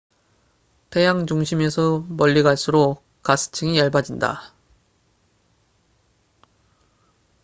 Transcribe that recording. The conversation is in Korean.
태양 중심에서 멀리 갈수록 가스층이 얇아진다